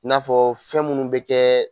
N'a fɔ fɛn munnu be kɛ